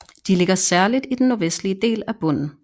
De ligger særligt i den nordvestlige del af bunden